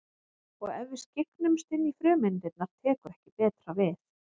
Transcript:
Og ef við skyggnumst inn í frumeindirnar tekur ekki betra við.